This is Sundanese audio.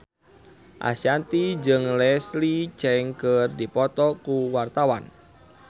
Ashanti jeung Leslie Cheung keur dipoto ku wartawan